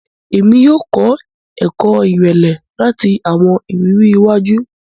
Èmí yóò kọ ẹkọ irẹlẹ lati awọn ìrírí iwájú.